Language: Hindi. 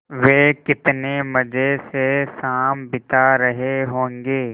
वे कितने मज़े से शाम बिता रहे होंगे